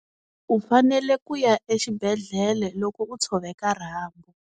U fanele ku ya exibedhlele loko u tshoveka rhambu.